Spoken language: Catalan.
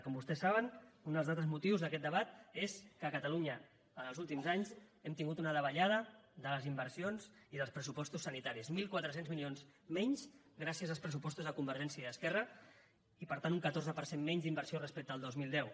com vostès saben un dels altres motius d’aquest debat és que a catalunya en els últims anys hem tingut una davallada de les inversions i dels pressupostos sanitaris mil quatre cents milions menys gràcies als pressupostos de convergència i esquerra i per tant un catorze per cent menys d’inversió respecte al dos mil deu